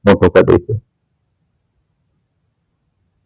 મોટું કર દઈશું